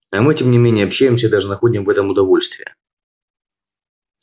а мы тем не менее общаемся и даже находим в этом удовольствие